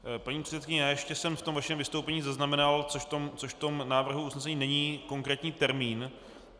Paní předsedkyně, já ještě jsem v tom vašem vystoupení zaznamenal, což v tom návrhu usnesení není, konkrétní termín.